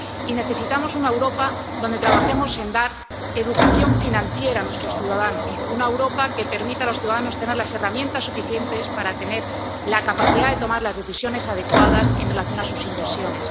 Y necesitamos una Europa donde trabajemos en dar educación financiera a nuestros ciudadanos, una Europa que permita a los ciudadanos tener las herramientas suficientes para tener la capacidad de tomar las decisiones adecuadas en relación con sus inversiones.